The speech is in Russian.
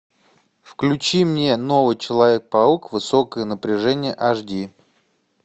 включи мне новый человек паук высокое напряжение аш ди